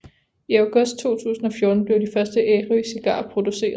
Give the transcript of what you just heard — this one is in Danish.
I august 2014 blev de første Ærø Cigarer produceret